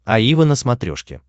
аива на смотрешке